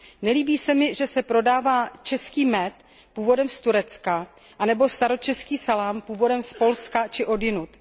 Nelíbí se mi, že se prodává český med původem z Turecka nebo staročeský salám původem z Polska či odjinud.